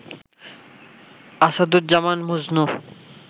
Asaduzzaman Majnu